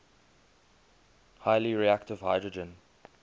highly reactive hydrogen